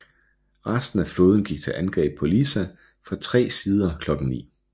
Resten af flåden gik til angreb på Lissa fra tre sider klokken ni